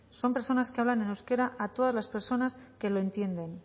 son personas que hablan en euskera a todas las personas que lo entienden